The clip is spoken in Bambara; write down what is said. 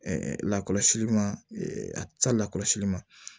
lakɔlɔsili ma a ca lakɔlɔsili ma